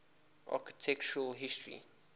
architectural history